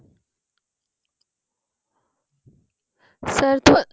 sir